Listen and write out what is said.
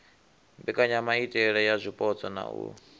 mbekanyamaitele ya zwipotso na u